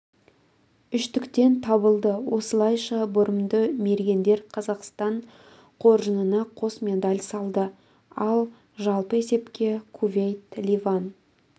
үштіктен табылды осылайша бұрымды мергендер қазақстан қоржынына қос медаль салды ал жалпы есепте кувейт ливан